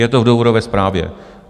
Je to v důvodové zprávě.